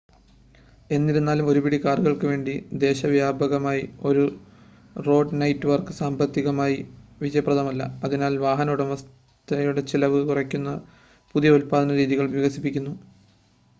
എന്നിരുന്നാലും ഒരുപിടി കാറുകൾക്കുവേണ്ടി ദേശവ്യാപകമായ ഒരു റോഡ് നെറ്റ് വർക്ക് സാമ്പത്തികമായി വിജയപ്രദമല്ല അതിനാൽ വാഹന ഉടമസ്ഥതയുടെ ചിലവ് കുറയ്ക്കുന്ന പുതിയ ഉൽപാദന രീതികൾ വികസിപ്പിക്കുന്നു